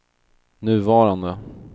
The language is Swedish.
nuvarande